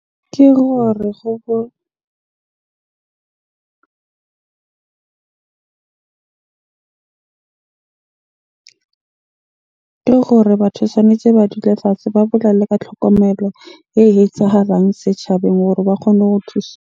Ke gore ke gore batho tshwanetje ba dule fatshe, ba bolele ka tlhokomelo e etsahalang setjhabeng hore ba kgone ho .